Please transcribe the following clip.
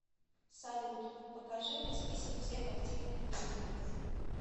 салют покажи мне список всех активных будильников